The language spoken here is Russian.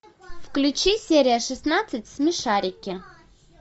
включи серия шестнадцать смешарики